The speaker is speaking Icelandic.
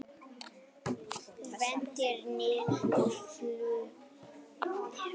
Væntir niðurstöðu fljótlega